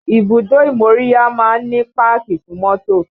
Ibùdó ìmóríyá máa ń ní páàkì fún mọ́tò